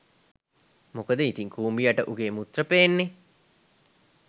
මොකද ඉතින් කූඹියට උගේ මුත්‍ර පේන්නෙ